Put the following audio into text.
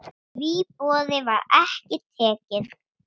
Því boði var ekki tekið.